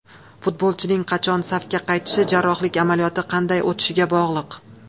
Futbolchining qachon safga qaytishi jarrohlik amaliyoti qanday o‘tishiga bog‘liq.